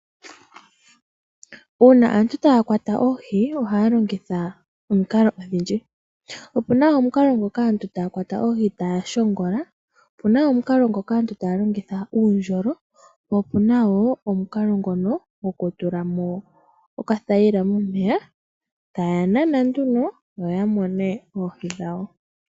Uuna aantu taya kwata oohi, ohaya longitha omikalo odhindji. Opuna omukalo ngoka aantu taya kwata oohi taya shongola, opuna wo omukalo ngoka aantu taya longitha uundjolo, po opuna wo omukalo ngono gwokutulamo okathayila momeya, taya nana nduno, opo yamone oohi dhawo.